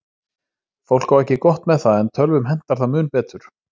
Fólk á ekki gott með það, en tölvum hentar það mun betur.